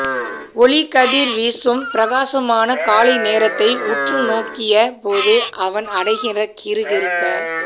ஒளிக்கதிர் வீசும் பிரகாசமான காலை நேரத்தை உற்று நோக்கிய போது அவன் அடைகிற கிறு கிறுக்க